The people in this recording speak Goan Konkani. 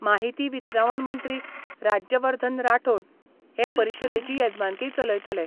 माहिती वितरावण मंत्री राज्यवर्धन राठोण हे परिशदेची येजमानकी चलयतले.